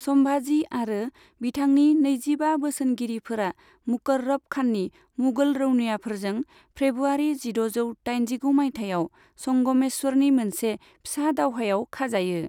सम्भाजी आरो बिथांनि नैजिबा बोसोनगिरिफोरा मुकर्रब खाननि मुगल रौनियाफोरजों फ्रेब्रुवारि जिद'जौ दाइनजिगु मायथाइयाव संगमेश्वरनि मोनसे फिसा दावहायाव खाजायो।